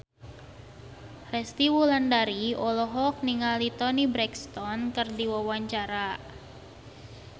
Resty Wulandari olohok ningali Toni Brexton keur diwawancara